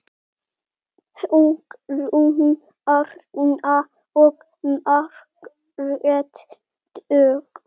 Hugrún Arna og Margrét Dögg.